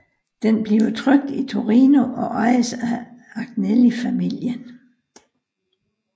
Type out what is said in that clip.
Den bliver trykt i Torino og ejes af Agnelli familien